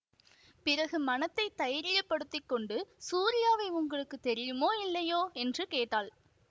பிறகு மனத்தை தைரியப்படுத்திக்கொண்டு சூரியாவை உங்களுக்கு தெரியுமோ இல்லையோ என்று கேட்டாள்